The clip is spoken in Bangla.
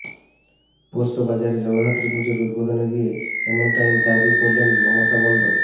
পোস্তবাজারে জগদ্ধাত্রী পুজোর উদ্বোধনে গিয়ে এমনটাই দাবি করলেন মমতা বন্দ্